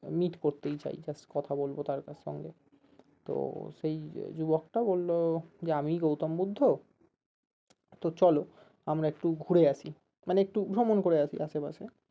meet করতেই চাই just কথা বলবো তার সঙ্গে তো সেই যুবকটা বললো যে আমিই গৌতম বুদ্ধ তো চলো আমরা একটু ঘুরে আসি মানে একটু ভ্রমণ করে আসি আসেপাশে